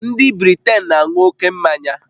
Ndị Britain na-aṅụ ókè mmanya